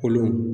Olu